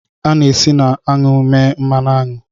A na-esi na aṅụ mee mmanụ aṅụ